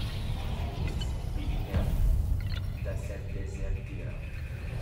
Vtis bi imel, da sem dezertiral.